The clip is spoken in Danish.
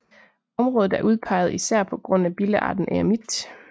Området er udpeget især på grund af billearten eremit